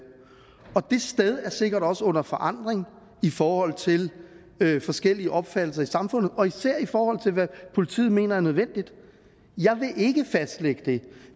det sted er sikkert også under forandring i forhold til forskellige opfattelser i samfundet og især i forhold til hvad politiet mener er nødvendigt jeg vil ikke fastlægge det